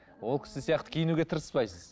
ол кісі сияқты киінуге тырыспайсыз